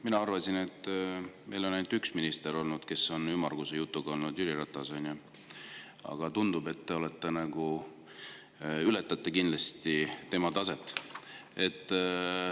Mina arvasin, et meil on ainult üks minister olnud, kes on ümmarguse jutuga olnud – Jüri Ratas, on ju –, aga tundub, et te ületate kindlasti tema taset.